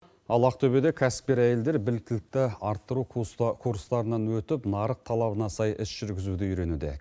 ал ақтобеде кәсіпкер әйелдер біліктілікті арттыру курстарынан өтіп нарық талабына сай іс жүргізуді үйренуде